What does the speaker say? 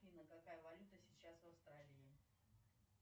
афина какая валюта сейчас в австралии